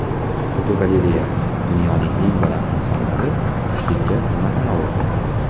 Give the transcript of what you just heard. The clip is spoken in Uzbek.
Fotogalereya: Dunyoning eng badavlat insonlari tushlikka nima tanovul qiladi?.